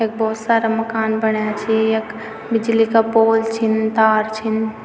यख भोत सारा मकान बणाया छी यख बिजली का पोल छिन तार छिन।